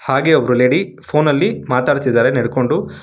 ಹಾಗೆ ಒಬ್ರು lady phone ಅಲ್ಲಿ ಮಾತಾಡುತ್ತಿದ್ದಾರೆ ನಡ್ಕೊಂಡು.